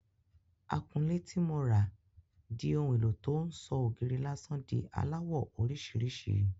Akunlé ti mo rà di ohun éló tó ń sọ ògiri lásán di aláwọ̀ orísìírísìí.